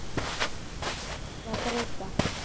Því þurfum við að breyta.